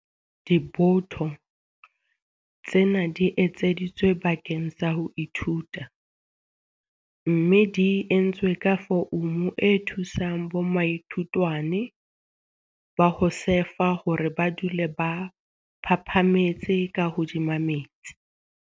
Diboto tsena di etseditswe bakeng sa ho ithuta mme di entswe ka foumu e thusang bomaithutwane ba ho sefa hore ba dule ba phaphametse ka hodima metsi.